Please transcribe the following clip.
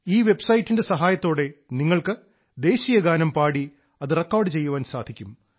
ഈ വെബ്സൈറ്റിന്റെ സഹായത്തോടെ നിങ്ങൾക്ക് ദേശീയഗാനം പാടി അത് റെക്കോർഡ് ചെയ്യാൻ സാധിക്കും